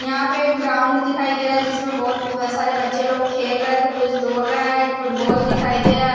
यहां पे एक ग्राउंड दिखाई दे रहा है जिसमें बहोत सारे बच्चे लोग खेल रहे हैं तो कुछ दौड़ रहे हैं फुटबॉल दिखाई दे रहा --